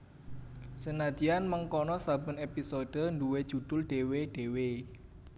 Senadyan mengkono saben épisode nduwé judhul dhéwé dhéwé